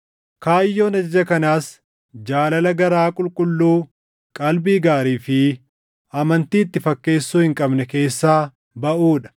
Kaayyoon ajaja kanaas jaalala garaa qulqulluu, qalbii gaarii fi amantii itti fakkeessuu hin qabne keessaa baʼuu dha.